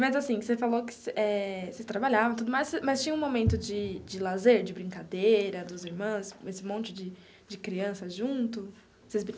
Mas assim, você falou que eh vocês trabalhavam e tudo mais, mas tinha um momento de de lazer, de brincadeira, dos irmãos, esse monte de de criança junto?